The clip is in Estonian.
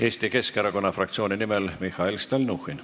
Eesti Keskerakonna fraktsiooni nimel Mihhail Stalnuhhin.